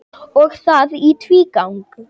Og það í tvígang.